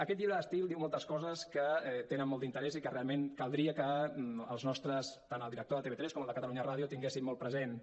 aquest llibre d’estil diu moltes coses que tenen molt d’interès i que realment caldria que tant el director de tv3 com el de catalunya ràdio tinguessin molt presents